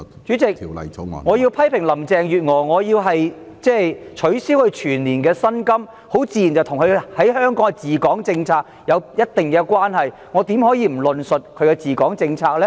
主席，我要批評林鄭月娥，削減她的全年薪酬，自然與她的治港政策有一定關係，我怎可以不論述她的治港政策呢？